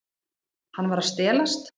Hann var að stelast.